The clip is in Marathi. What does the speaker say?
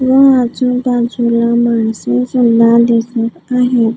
व आजूबाजूला माणसे सल्ला दिसत आहे.